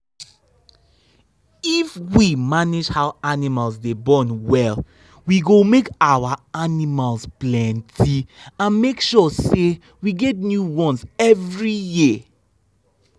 we day prepare where cow go born with soft ground like two um like two um weeks before she go born the piken.